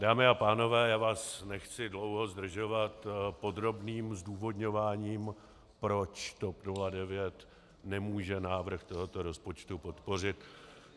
Dámy a pánové, já vás nechci dlouho zdržovat podrobným zdůvodňováním, proč TOP 09 nemůže návrh tohoto rozpočtu podpořit.